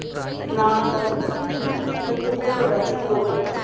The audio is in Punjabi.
ਇਸ਼ਨਾਨ ਕਰਕੇ ਅਸੀਂ ਉਥੇ ਬੈਠ ਗਏ ਸੀ ਦੋ ਵਜ਼ੇ ਰਾਤੀਂ